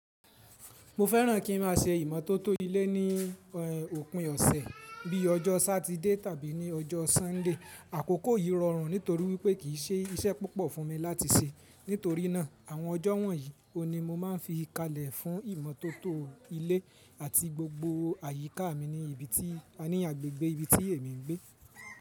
Mo fẹ́ràn kí n má a se ìmọ́tótó ilé ní òpin ọ̀sẹ̀ bíi ọjọ́ Sátidé tàbí ní ọjọ́ Súndé. Àkókò yìí rọrùn nítorí wípé kì í ṣe iṣẹ́ púpọ̀ fún mi láti ṣe. Nítorínà àwọn ọjọ́ wọ̀nyí oun ni mo máa n fi kalẹ̀ fún ìmọ́tótó ilé àti gbogbo àyíká mi ní ibi tí a ní agbègbè ibi tí èmi ń gbé.